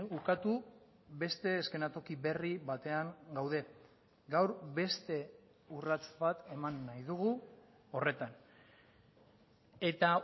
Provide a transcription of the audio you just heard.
ukatu beste eszenatoki berri batean gaude gaur beste urrats bat eman nahi dugu horretan eta